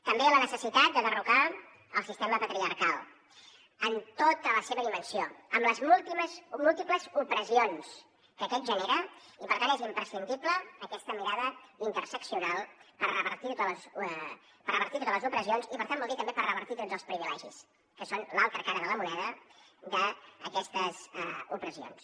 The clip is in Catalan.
també la necessitat de derrocar el sistema patriarcal en tota la seva dimensió amb les últimes múltiples opressions que aquests genera i per tant és imprescindible aquesta mirada interseccional per revertir totes les opressions i per tant vol dir també per revertir tots els privilegis que són l’altra cara de la moneda d’aquestes opressions